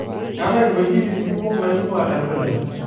Keetae ng'uejitin kumok naingua empuliya.